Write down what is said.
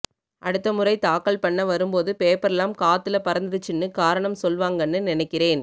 அடுத்தமுறை தாக்கல் பண்ண வரும்போது பேப்பரெல்லாம் காத்துல பறந்துடிச்சுன்னு காரணம் சொல்லுவாங்கனு நெனைக்கிரேன்